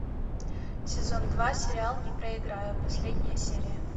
сезон два сериал не проиграю последняя серия